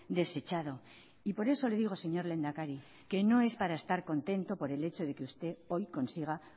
desechado y por eso le digo señor lehendakari que no es para estar contento por el hecho de que usted hoy consiga